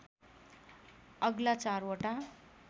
अग्ला चारवटा